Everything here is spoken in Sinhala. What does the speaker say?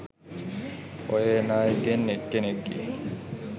ඔය එන අයගෙන් එක් කෙනෙක්ගෙ